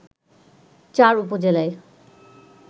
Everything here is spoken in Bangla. চার উপজেলায়